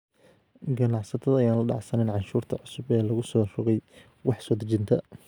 Ganacsatada ayaan la dhacsanayn canshuurta cusub ee lagu soo rogay wax soo dejinta.